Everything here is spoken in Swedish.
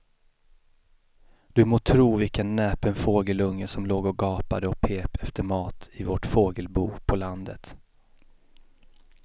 Du må tro vilken näpen fågelunge som låg och gapade och pep efter mat i vårt fågelbo på landet.